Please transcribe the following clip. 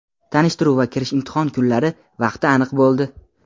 Tanishtiruv va kirish imtihon kunlari vaqti aniq bo‘ldi!.